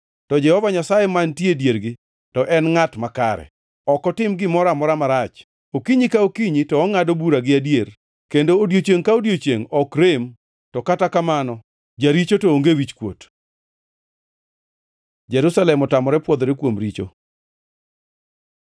To Jehova Nyasaye mantie e diergi, to en ngʼat makare, ok otim gimoro amora marach. Okinyi ka okinyi to ongʼado bura gi adier, kendo odiechiengʼ ka odiechiengʼ ok rem, to kata kamano, jaricho to onge wichkuot. Jerusalem otamore pwodhore kuom richo